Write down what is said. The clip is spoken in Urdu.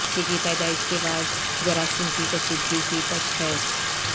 بچے کی پیدائش کے بعد جراثیم کی کشیدگی کی تشخیص